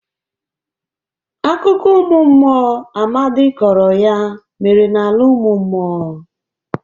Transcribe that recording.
Akụkọ ụmụ mmụọ Amadị kọrọ ya mere n'ala ụmụ mmụọ.